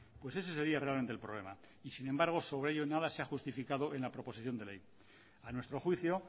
pues ese sería realmente el problema y sin embargo sobre ello nada se ha justificado en la proposición de ley a nuestro juicio